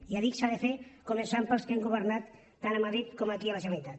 ja dic s’ha de fer començant pels que hem governat tant a madrid com aquí a la generalitat